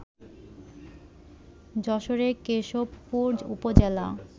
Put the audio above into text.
যশোরের কেশবপুর উপজেলা